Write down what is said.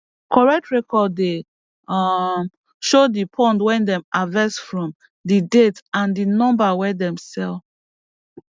correct record dey um show di pond wey dem harvest from di date and di number wey dem sell